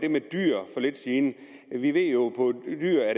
for lidt siden vi ved jo